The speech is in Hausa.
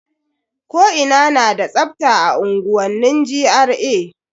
Ko ina na da tsafta a unguwanni GRA.